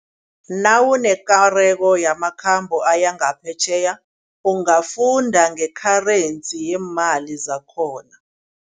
Nawunekareko yamakhambo aya ngaphetjheya ungafunda nge-currency yemali zakhona.